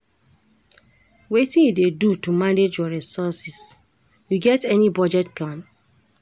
Wetin you dey do to manage your resources, you get any budget plan?